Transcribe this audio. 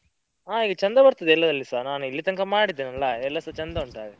ಹಾ ಈಗ ಚಂದ ಬರ್ತದೆ ಎಲ್ಲದ್ರಲ್ಲಿಸಾ, ನಾನ್ ಇಲ್ಲಿ ತನಕ ಮಾಡಿದೇನಲ್ಲ ಎಲ್ಲಸಾ ಚಂದ ಉಂಟು ಹಾಗೆ.